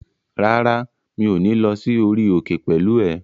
Rárá, mi ò ní lọ sí orí òkè pẹ̀lú ẹ